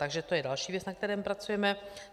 Takže to je další věc, na které pracujeme.